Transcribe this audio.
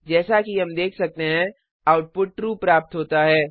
जैसा कि हम देख सकते हैं आउटपुट ट्रू प्राप्त होता है